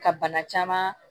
Ka bana caman